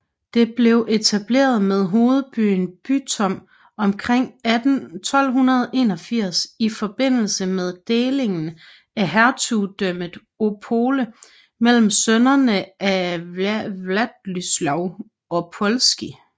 Det blev etableret med hovedbyen Bytom omkring 1281 i forbindelse med delingen af hertugdømmet Opole mellem sønnerne af Władysław Opolski